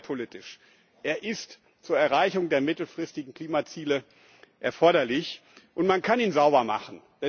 Aber auch umweltpolitisch ist er zur Erreichung der mittelfristigen Klimaziele erforderlich, und man kann ihn sauber machen.